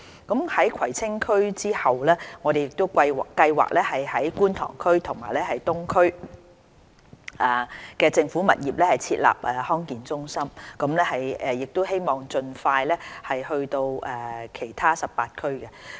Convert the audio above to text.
在葵青區之後，我們計劃於觀塘及東區的政府物業設立康健中心，並希望盡快擴展至全港18區。